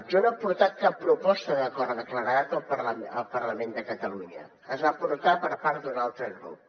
jo no he portat cap proposta d’acord de claredat al parlament de catalunya es va portar per part d’un altre grup